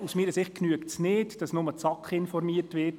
Aus meiner Sicht genügt es nicht, dass nur die SAK informiert wird.